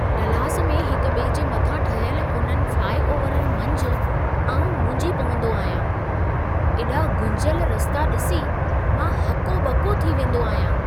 Dallas में हिक ॿिए जे मथां ठहियल इन्हनि फ़्लाइओवरनि मंझि आउं मुंझी पवंदो आहियां। एॾा गुंझियल रस्ता ॾिसी मां हको ॿको थी वेंदो आहियां।